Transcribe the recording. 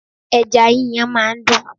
Ẹja yíyan máa ń dùn.